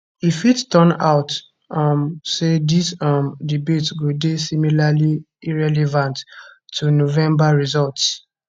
e fit turn out um say dis um debate go dey similarly irrelevant to november results